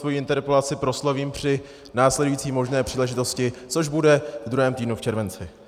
Svoji interpelaci proslovím při následující možné příležitosti, což bude ve druhém týdnu v červenci.